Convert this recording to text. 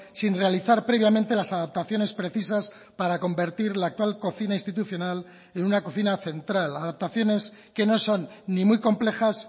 sin realizar previamente las adaptaciones precisas para convertir la actual cocina institucional en una cocina central adaptaciones que no son ni muy complejas